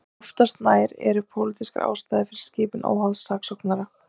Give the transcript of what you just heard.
Oftast nær eru pólitískar ástæður fyrir skipun óháðs saksóknara.